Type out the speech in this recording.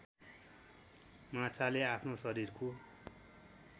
माछाले आफ्नो शरीरको